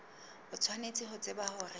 o tshwanetse ho tseba hore